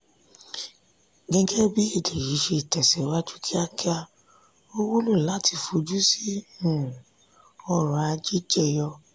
gẹ́gẹ́bí èdè yí tẹ síwájú kíákíá ó wúlò láti fojú sí um ọ̀rọ̀ ajé jeyo.